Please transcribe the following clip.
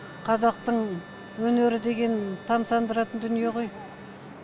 қазақтың өнері деген тамсандыратын дүние ғой